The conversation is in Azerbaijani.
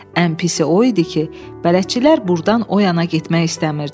Ən pisi o idi ki, bələdçilər burdan o yana getmək istəmirdilər.